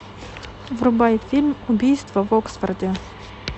врубай фильм убийства в оксфорде